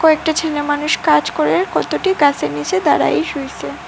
কয়েকটা ছেলেমানুষ কাজ করে কতটি গাছের নিচে দাঁড়াই শুইছে।